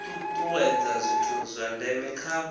tutuwedza zwithu zwa ndeme kha